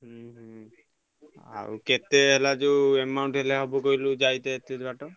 ହୁଁ ଆଉ କେତେହେଲା ଯୋଉ amount ହେଲେ ହବ କହିଲୁ ଯାଇତେ ଏତିକି ବାଟ?